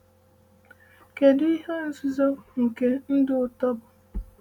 Kedu ihe nzuzo nke ndụ ụtọ bụ?